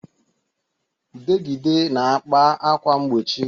Udegịde na-akpa ákwà mgbochi